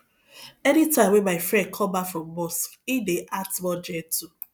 any time wey my friend come back from mosque he dey act more gentle